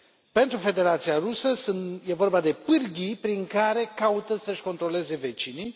Pentru Federația Rusă, e vorba de pârghii prin care caută să și controleze vecinii.